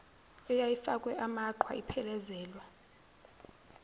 eyayifakwe amaqhwa iphelezelwa